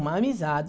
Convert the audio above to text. Uma amizade.